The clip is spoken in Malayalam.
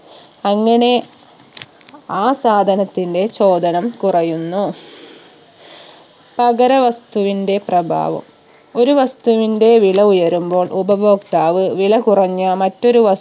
അങ്ങനെ ആ സാധനത്തിന്റെ ചോദനം കുറയുന്നു പകര വസ്തുവിന്റെ പ്രഭാവം ഒരു വസ്തുവിന്റെ വില ഉയരുമ്പോൾ ഉപഭോക്താവ് വില കുറഞ്ഞ മറ്റൊരു വ